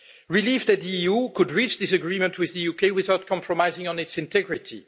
Relief that the EU could reach this agreement with the UK without compromising on its integrity.